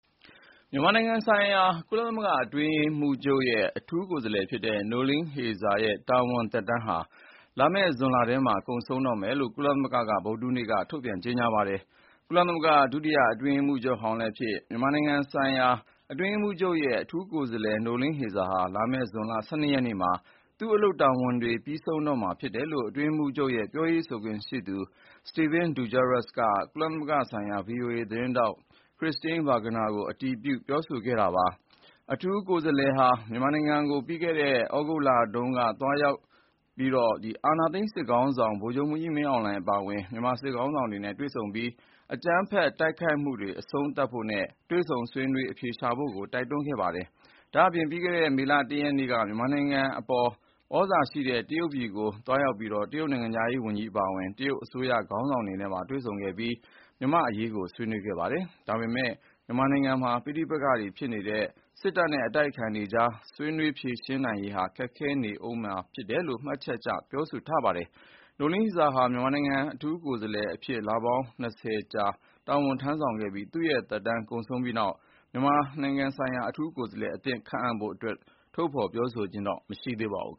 မြန်မာနိုင်ငံဆိုင်ရာ ကုလသမဂ္ဂအတွင်းရေးမှုးချုပ်ရဲ့အထူးကိုယ်စားလှယ် နိုလင်းဟေဇာ Noeleen Heyzer ရဲ့ တာဝန် သက်တမ်းဟာလာမယ့် ဇွန်ထဲမှာကုန်ဆုံးတော့မယ်လို့ ကုလသမဂ္ဂက ဗုဒ္ဓဟူးနေ့က ထုတ်ပြန်ကြေငြာပါတယ်။ ကုလသမဂ္ဂ ဒုတိယအတွင်းရေးမှုးချုပ်ဟောင်းလည်းဖြစ်၊ မြန်မာနိုင်ငံဆိုင်ရာအတွင်းရေးမှုးချုပ်ရဲ့ အထူးကိုယ်စားလှယ် နိုလင်းဟေဇာဟာ လာမယ့်ဇွန်လ ၁၂ ရက်နေ့မှာ သူ့အလုပ်တာဝန်တွေ ပြီးဆုံးတော့မှာဖြစ်တယ်လို့ အတွင်းရေးမှုးချုပ်ရဲ့ ပြောခွင့်ရသူ Stephane Dujarric က ကုလသမဂ္ဂဆိုင်ရာ VOA သတင်းထောက် Christine Burgner ကို အတည်ပြု ပြောဆိုခဲ့ပါတယ်။ အထူးကိုယ်စားလှယ်ဟာ မြန်မာနိုင်ငံကို ပြီးခဲ့တဲ့သြဂုတ်လတုန်းက သွားရောက်ပြီး အာဏာသိမ်းစစ်ကောင်စီ ခေါင်းဆောင်ဗိုလ်ချုပ်မှုးကြီးမင်းအောင်လှိုင်အပါဝင် မြန်မာစစ်ခေါင်းဆောင်တွေနဲ့တွေ့ဆုံခဲ့သလို၊ အကြမ်းဖက်တိုက်ခိုက်မှုတွေ အဆုံးသတ်ဖို့နဲ့ တွေ့ဆုံဆွေးနွေးအဖြေရှာဖို့တိုက်တွန်းခဲ့ပါတယ်။ ဒါ့အပြင် ပြီးခဲ့တဲ့ မေလ ၁ ရက်နေ့က မြန်မာနိုင်ငံအပေါ် သြဇာရှိတဲ့ တရုတ်ပြည်ကိုသွားရောက်ပြီး တရုတ်နိုင်ငံခြားရေးဝန်ကြီးအပါအဝင် တရုတ်အစိုးရခေါင်းဆောင်တွေနဲ့ပါ တွေ့ဆုံခဲ့သလို မြန်မာ့အရေး ဆွေးနွေးခဲ့ပါတယ်။ ဒါပေမယ့်လည်း မြန်မာနိုင်ငံမှာပဋိပက္ခဖြစ်နေတဲ့ စစ်တပ်နဲ့အတိုက်အခံတွေ အကြား ဆွေးနွေးဖြေရှင်းနိုင်ရေးဟာခက်ခဲနေဦးမယ်လို့မှတ်ချက်ပြုပြောဆိုခဲ့ပါတယ်။ နိုလင်းဟေဇာဟာ မြန်မာနိုင်ငံအထူးကိုယ်စားလှယ်အဖြစ်လပေါင်း ၂၀ ကြာတာဝန်ထမ်းဆောင်ခဲ့ပါတယ်။ မစ္စ ဟေဇာရဲ့သက်တမ်းကုန်ဆုံးပြီးနောက် မြန်မာနိုင်ငံဆိုင်ရာအထူးကိုယ်စားလှယ်အသစ် ခန့်အပ်ဖို့ အတွက်တော့ ထုတ်ဖေါ်ပြောဆိုခြင်းမရှိသေးပါဘူး